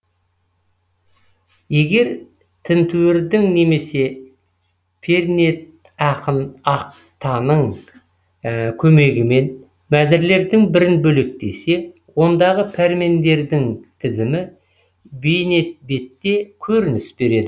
егер тінтуірдің немесе пернетақтаның көмегімен мәзірлердің бірін бөлектесе ондағы пәрмендердің тізімі бейнебетте көрініс береді